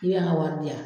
K'i y'an ka wari di yan